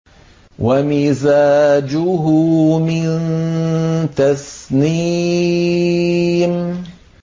وَمِزَاجُهُ مِن تَسْنِيمٍ